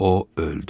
O öldü.